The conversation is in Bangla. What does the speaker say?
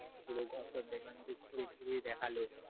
পুরো ঘর টর দেখলাম যে পুরো ঘুরে ঘুরে দেখালো,